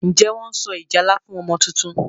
Njé Wón so ìjálá fún ọmọ títún?